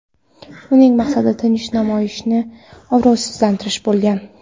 Uning maqsadi tinch namoyishni obro‘sizlantirish bo‘lgan.